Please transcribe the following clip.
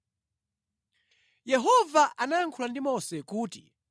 Yehova anayankhula ndi Mose kuti,